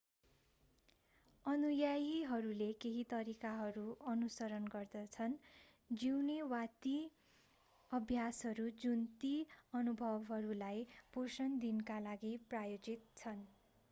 अनुयायीहरूले केही तरिकाहरू अनुसरण गर्छन् जिउने वा ती अभ्यासहरू जुन ती अनुभवहरूलाई पोषण दिनका लागि प्रायोजित छन्